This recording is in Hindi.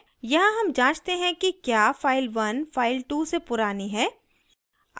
यहाँ हम जांचते हैं कि क्या file1 file2 से पुरानी है